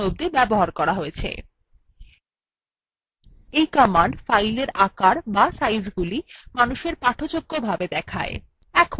এই কমান্ড স্থানগলি মানুষের পাঠযোগ্য বিন্যাসেও দেখায়